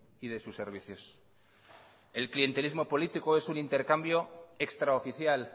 y de sus servicios el clientelismo político es un intercambio extraoficial